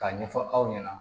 K'a ɲɛfɔ aw ɲɛna